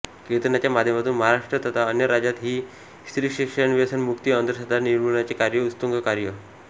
कीर्तनाच्या माध्यमातून महाराष्ट्र तथा अन्य राज्यात हि स्त्रीशिक्षणव्यसनमुक्ती अंधश्रद्धा निर्मुलनाचे कार्य उत्तुंग कार्य